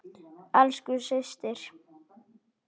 Elsku systir.